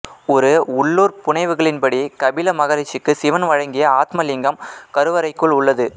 ஒரு உள்ளூர் புனைவுகளின்படி கபில மகரிஷிக்கு சிவன் வழங்கிய ஆத்மலிங்கம் கருவறைக்குள் உள்ளது